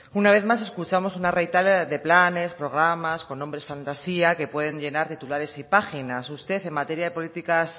una vez más escuchamos una retahíla de planes programas con nombres fantasía que pueden llenar titulares y páginas